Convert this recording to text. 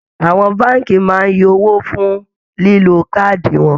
Àwọn báànkì máa ń yọ owó fun lílo káàdì wọn